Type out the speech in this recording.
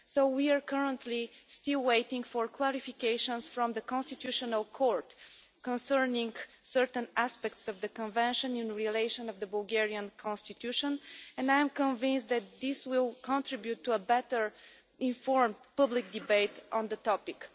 We are currently still waiting for clarifications from the Constitutional Court concerning certain aspects of the Convention in relation to the Bulgarian Constitution, and I am convinced that this will contribute to a better informed public debate on the topic.